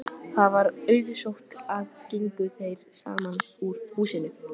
Það var auðsótt og gengu þeir saman úr húsinu.